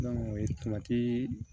o ye